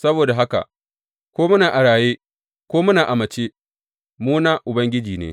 Saboda haka, ko muna a raye ko muna a mace, mu na Ubangiji ne.